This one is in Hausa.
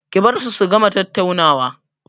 Ki bar su su gama tattaunawa!